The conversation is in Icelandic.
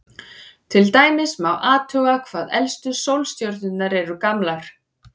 Til dæmis má athuga hvað elstu sólstjörnur eru gamlar.